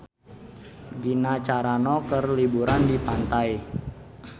Gina Carano keur liburan di pantai